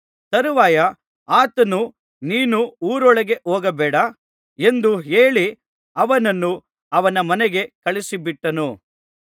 ತರುವಾಯ ಆತನು ನೀನು ಊರೊಳಗೆ ಹೋಗಬೇಡ ಎಂದು ಹೇಳಿ ಅವನನ್ನು ಅವನ ಮನೆಗೆ ಕಳುಹಿಸಿಬಿಟ್ಟನು